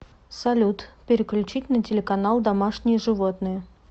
салют переключить на телеканал домашние животные